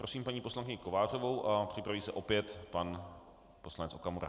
Prosím paní poslankyní Kovářovou a připraví se opět pan poslanec Okamura.